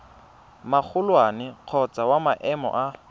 magolwane kgotsa wa maemo a